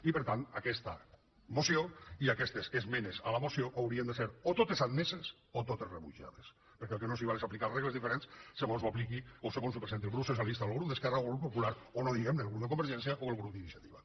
i per tant aquesta moció i aquestes esmenes a la moció haurien de ser o totes admeses o totes rebutjades perquè el que no s’hi val és aplicar regles diferents segons ho presenti el grup socialista o el grup d’esquerra o el grup popular o no cal dir ho el grup de convergència o el grup d’iniciativa